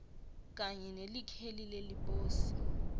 kanye nelikheli leliposi